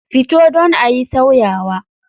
Fito don ayi sauyawa.